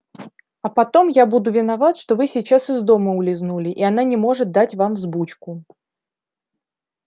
а потом я буду виноват что вы сейчас из дома улизнули и она не может дать вам взбучку